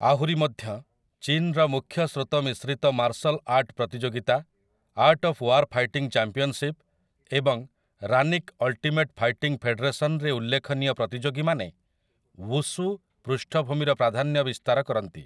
ଆହୁରି ମଧ୍ୟ, ଚୀନ୍ ର ମୁଖ୍ୟସ୍ରୋତ ମିଶ୍ରିତ ମାର୍ଶଲ ଆର୍ଟ ପ୍ରତିଯୋଗିତା, art of war fighting championship ଏବଂ ରାନିକ୍ ଅଲ୍ଟିମେଟ୍ ଫାଇଟିଂ ଫେଡେରେସନ୍ ରେ ଉଲ୍ଲେଖନୀୟ ପ୍ରତିଯୋଗୀମାନେ ୱୁଶୁ ପୃଷ୍ଠଭୂମିର ପ୍ରାଧାନ୍ୟ ବିସ୍ତାର କରନ୍ତି ।